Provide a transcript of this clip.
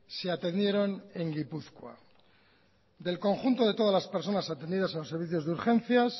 se atendieron en gipuzkoa del conjunto de todas las personas atendidas en los servicios de urgencias